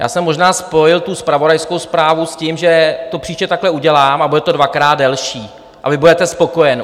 Já jsem možná spojil tu zpravodajskou zprávu s tím, že to příště takhle udělám, a bude to dvakrát delší a vy budete spokojen.